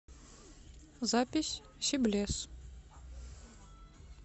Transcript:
запись сиблес